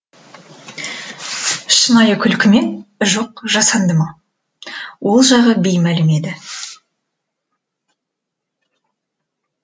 шынайы күлкі ме жоқ жасанды ма ол жағы беймәлім еді